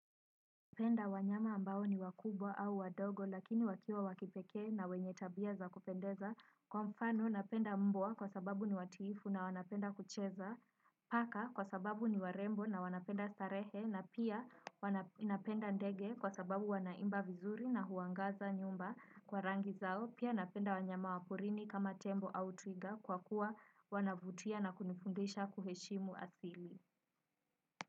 Penda wanyama ambao ni wakubwa au wadogo lakini wakiwa wakipekee na wenye tabia za kupendeza kwa mfano napenda mbwa kwa sababu ni watiifu na wanapenda kucheza paka kwa sababu ni warembo na wanapenda starehe na pia ninapenda ndege kwa sababu wanaimba vizuri na huangaza nyumba kwa rangi zao pia napenda wanyama waporini kama tembo au twiga kwa kuwa wanavutia na kunifundisha kuheshimu asili.